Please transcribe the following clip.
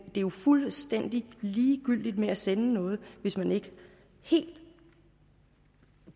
jo fuldstændig ligegyldigt at sende noget hvis man ikke helt